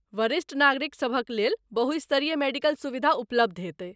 वरिष्ठ नागरिक सभक लेल बहुस्तरीय मेडिकल सुविधा उपलब्ध हेतै।